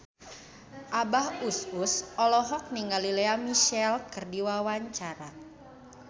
Abah Us Us olohok ningali Lea Michele keur diwawancara